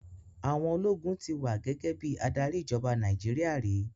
Àwọn ológun ti wà gẹ́gẹ́ bí adarí ìjọba Nàìjíríà rí.